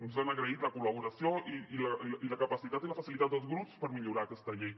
ens han agraït la col·laboració i la capacitat i la facilitat dels grups per millorar aquesta llei